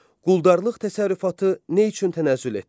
Quldarlıq təsərrüfatı nə üçün tənəzzül etdi?